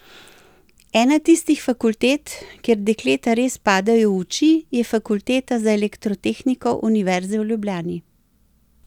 Ena tistih fakultet, kjer dekleta res padejo v oči, je Fakulteta za elektrotehniko Univerze v Ljubljani.